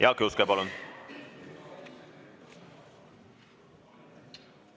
Jaak Juske, palun!